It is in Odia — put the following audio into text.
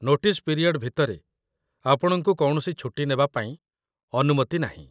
ନୋଟିସ୍ ପିରିୟଡ୍ ଭିତରେ, ଆପଣଙ୍କୁ କୌଣସି ଛୁଟି ନେବା ପାଇଁ ଅନୁମତି ନାହିଁ ।